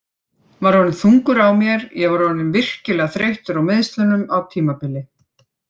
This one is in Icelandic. Var orðinn þungur á mér Ég var orðinn virkilega þreyttur á meiðslunum á tímabili.